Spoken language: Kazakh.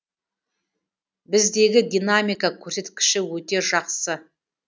біздегі динамика көрсеткіші өте жақсы